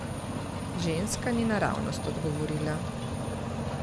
Ženska ni naravnost odgovorila.